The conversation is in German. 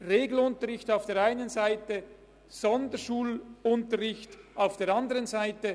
Es gibt Regelunterricht auf der einen Seite, Sonderschulunterricht auf der anderen Seite.